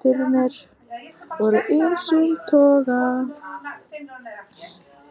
Tilraunirnar voru af ýmsum toga